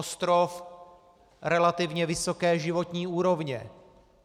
Ostrov relativně vysoké životní úrovně.